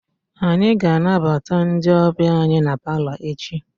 Anyị ga-anabata ndị ọbịa anyị na palọ echi.